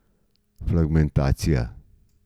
Fragmentacija.